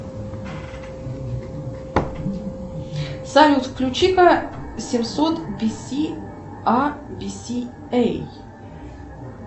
салют включи ка семьсот би си а би си эй